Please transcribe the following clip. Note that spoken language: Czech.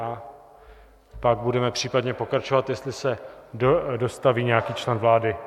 A pak budeme případně pokračovat, jestli se dostaví nějaký člen vlády.